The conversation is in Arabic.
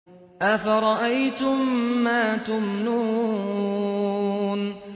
أَفَرَأَيْتُم مَّا تُمْنُونَ